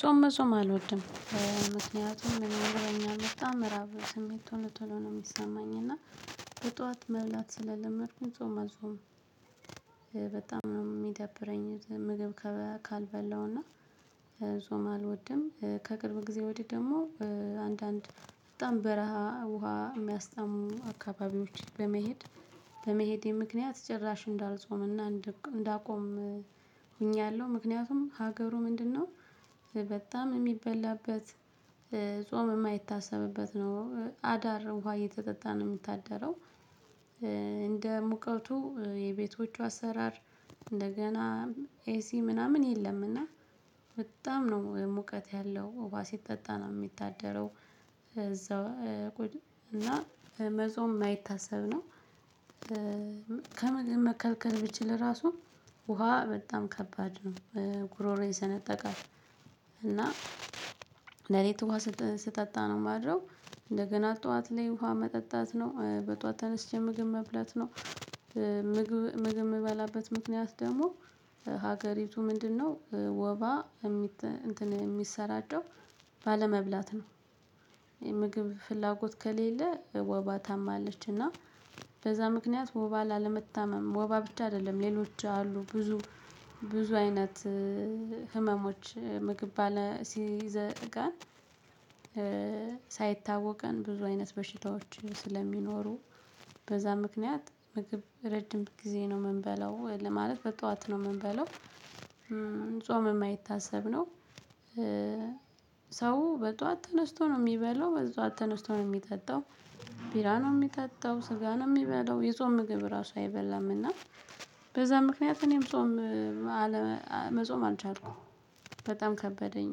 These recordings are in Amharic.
ጾም መጾም አልወድም። ምክንያቱም እኔ ይርበኛል በጣም ራብ ስሜቱ ቶሎ ነው የሚሰማኝ እና በጧት መብላት ስለለመድኩኝ ጾም መጾም። በጣም ነው የሚደብረኝ። ምግብ ካልበላውና ጾም አልወድም። ከቅርብ ጊዜ ወዲህ ደግሞ አንዳንድ በጣም በረሃ ውሃ የሚያስታምሙ አካባቢዎች በመሄድ በመሄዴ ምክንያት ጭራሽ እንዳልጾምና እንዳቆም ሆኛለሁ። ምክንያቱም ሀገሩ ምንድነው? በጣም የሚበላበት ጾም የማይታሰብበት ነው አዳር ውሃ እየተጠጣ ነው የምታደረው። እንደ ሙቀቱ የቤቶቹ አሰራር እንደገና ኤሲ ምናምን የለምና። በጣም ነው ሙቀት ያለው ውሃ ሲጠጣ ነው የሚታደረው። እዛው እና መጾም የማይታሰብ ነው። ከምግብ መከልከል ብችል ራሱ ውሃ በጣም ከባድ ነው። ጉሮሮ ይሰነጠቃል። እና ለሊት ውሃ ስጠጣ ነው የማድረው እንደገና ጠዋት ላይ ውሃ መጠጣት ነው በጧት ተነስቼ ምግብ መብላት ነው። ምግብ የምበላበት ምክንያት ደግሞ ሀገሪቱ ምንድነው? ወባ የሚሰራጨው ባለመብላት ነው። የምግብ ፍላጎት ከሌለ ወባ ታማለች እና በዛ ምክንያት ወባ ላለመታመም ወባ ብቻ አይደለም ሌሎች አሉ ብዙ ብዙ አይነት ህመሞች ምግብ ባለ ሲዘጋን። ሳይታወቀን ብዙ አይነት በሽታዎች ስለሚኖሩ በዛ ምክንያት ምግብ ረጅም ጊዜ ነው የምንበላው ለማለት በጠዋት ነው የምንበለው። ጾም የማይታሰብ ነው። ሰው በጠዋት ተነስቶ ነው የሚበላው በጠዋት ተነስቶ ነው የሚጠጣው። ቢራ ነው የሚጠጣው ስጋ ነው የሚበላው የጾም ምግብ ራሱ አይበላም እና በዛ ምክንያት እኔም ጾም። መጾም አልቻልኩም። በጣም ከበደኝ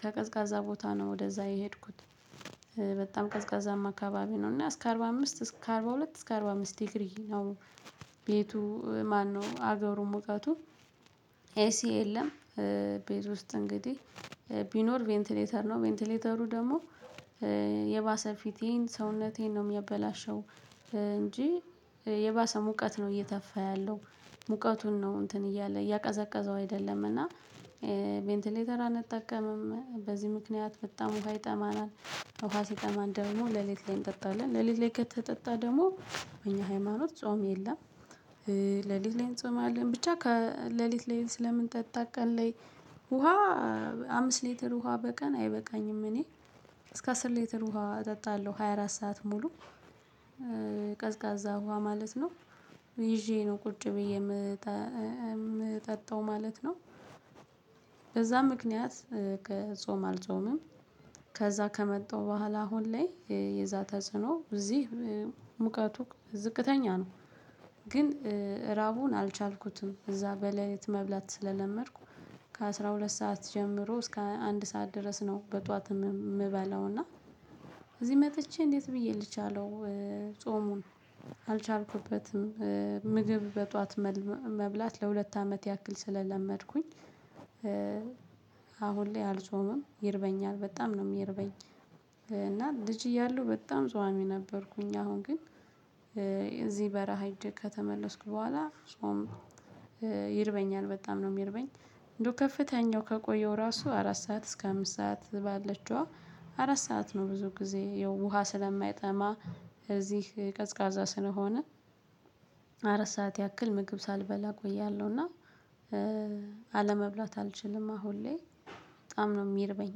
ከቀዝቃዛ ቦታ ነው ወደዛ የሄድኩት። በጣም ቀዝቃዛማ አካባቢ ነው እና እስከ አርባ አምስት እስከ አርባ ሁለት እስከ አርባ አምስት ዲግሪ ነው። ቤቱ ማነው? አገሩ ሙቀቱ ኤሲ የለም። ቤት ውስጥ እንግዲህ ቢኖር ቬንቲሌተር ነው ቬንቲሌተሩ ደግሞ የባሰ ፊቴን ሰውነቴን ነው የሚያበላሸው። እንጂ የባሰ ሙቀት ነው እየተፋ ያለው። ሙቀቱን ነው እንትን እያለ እያቀዘቀዘው አይደለም እና ቬንትሌተር አንጠቀምም። በዚህ ምክንያት በጣም ውሃ ይጠማናል። ውሃ ሲጠማን ደግሞ ሌሊት ላይ እንጠጣለን ሌሊት ላይ ከተጠጣ ደግሞ እኛ ሃይማኖት ጾም የለም። ለሊት ላይ እንጾማለን ብቻ ከለሊት ለሊት ስለምንጠጣ ቀን ላይ ውሃ አምስት ሊትር ውሃ በቀን አይበቃኝም እኔ እስከ አስር ሊትር ውሃ እጠጣለሁ ሃያ አራት ሰዓት ሙሉ። ቀዝቃዛ ውሃ ማለት ነው ይዤ ነው ቁጭ ብዬ የምጠጣው ማለት ነው። በዛ ምክንያት ጾም አልጾምም። ከዛ ከመጣው በኋላ አሁን ላይ የዛ ተጽዕኖ እዚህ ሙቀቱ ዝቅተኛ ነው። ግን ራቡን አልቻልኩትም እዛ በሌሊት መብላት ስለለመድኩ ከአሥራ ሁለት ሰዓት ጀምሮ እስከ አንድ ሰዓት ድረስ ነው በጧት የምበላው እና እዚህ መጥቼ እንዴት ብዬ ልቻለው? ጾሙን አልቻልኩበትም። ምግብ በጧት መብላት ለሁለት አመት ያክል ስለለመድኩኝ። አሁን ላይ አልጾምም ይርበኛል በጣም ነው የሚርበኝ። እና ልጅ እያለሁ በጣም ጿሚ ነበርኩኝ። አሁን ግን እዚህ በረሃ ሂጄ ከተመለስኩ በኋላ ጾም ይርበኛል በጣም ነው የሚርበኝ። እንደው ከፍተኛው ከቆየው ራሱ አራት ሰዓት እስከ አምስት ሰዓት ባለችዋ አራት ሰዓት ነው ብዙ ጊዜ የውሃ ስለማይጠማ እዚህ ቀዝቃዛ ስለሆነ አራት ሰዓት ያክል ምግብ ሳልበላ እቆያለሁና። አለመብላት አልችልም። አሁን ላይ በጣም ነው የሚርበኝ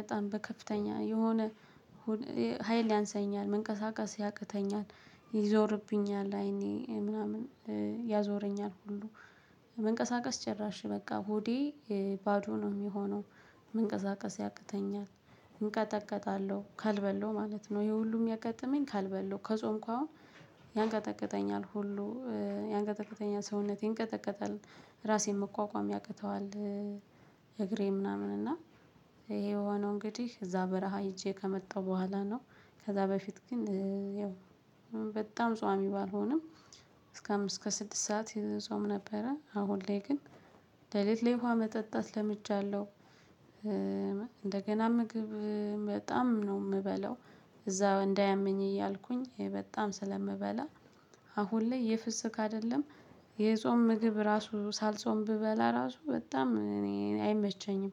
በጣም በከፍተኛ የሆነ ሀይል ያንሳኛል መንቀሳቀስ ያቅተኛል። ይዞርብኛል አይኔ ምናምን ያዞረኛል። ሁሉ መንቀሳቀስ ጭራሽ በቃ ሆዴ ባዶ ነው የሚሆነው። መንቀሳቀስ ያቅተኛል። እንቀጠቀጣለሁ ካልበለው ማለት ነው። ይሄ ሁሉ የሚያጋጥመኝ ካልበለው ከጾምኩ አሁን ያንቀጠቀጠኛል ሁሉ ያንቀጠቀጠኛል ሰውነቴን ይንቀጠቀጣል ራሴን መቋቋም ያቅተዋል። እግሬ ምናምን እና ይሄ የሆነው እንግዲህ እዛ በረሃ ሄጄ ከመጣው በኋላ ነው። ከዛ በፊት ግን ያው በጣም ጿሚ ባልሆንም እስከ አምስት እስከ ስድስት ሰዓት ጾም ነበረ። አሁን ላይ ግን ለሊት ላይ ውሃ መጠጣት ለምጃለሁ። እንደገና ምግብ በጣም ነው የምበለው። እዛው እንዳያመኝ እያልኩኝ በጣም ስለምበላ አሁን ላይ የፍስክ አይደለም። የጾም ምግብ ራሱ ሳልጾም ብበላ ራሱ በጣም እኔ አይመቸኝም።